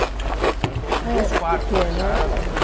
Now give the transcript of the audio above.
A senhora falou que tinha dois quartos na casa, né?